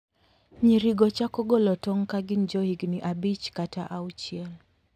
Nyirigo chako golo tong' ka gin johigini abich kata auchiel.